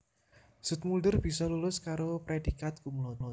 Zoetmulder bisa lulus karo prédhikat cum laude